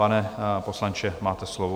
Pane poslanče, máte slovo.